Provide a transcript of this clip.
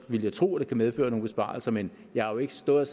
ville jeg tro at det kan medføre nogle besparelser men jeg har jo ikke stået og